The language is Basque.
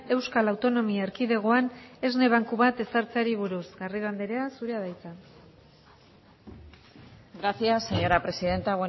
euskal autonomia erkidegoan esne banku bat ezartzeari buruz garrido andrea zurea da hitza gracias señora presidenta